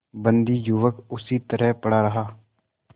बंदी युवक उसी तरह पड़ा रहा